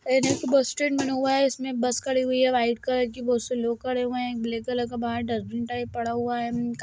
ये एक bus stand बना हुआ है इसमें बस खड़ी हुई है वाइट कलर की बहुत से लोग खड़े हुए हैं एक ब्लैक कलर का बाहर डस्टबिन टाइप पड़ा हुआ है --